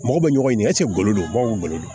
Mɔgɔ bɛ ɲɔgɔn ɲɛ golo don baw golo